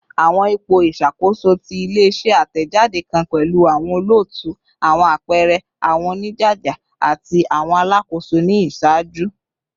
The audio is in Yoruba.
Awọn ipo iṣakoso ti ile-iṣẹ atẹjade kan pẹlu awọn olootu, awọn apẹẹrẹ, awọn onijaja, ati awọn alakoso ni iṣaaju.